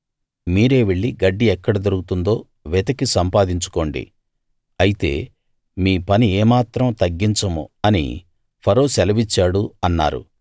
మీరే వెళ్లి గడ్డి ఎక్కడ దొరుకుతుందో వెతికి సంపాదించుకోండి అయితే మీ పని ఏమాత్రం తగ్గించము అని ఫరో సెలవిచ్చాడు అన్నారు